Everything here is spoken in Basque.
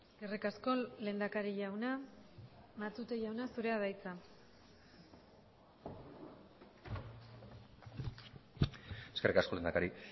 eskerrik asko lehendakari jauna matute jauna zurea da hitza eskerrik asko lehendakari